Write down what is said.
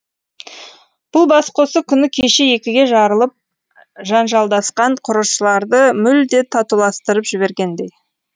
бұл бас қосу күні кеше екіге жарылып жанжалдасқан құрылысшыларды мүлде татуластырып жібергендей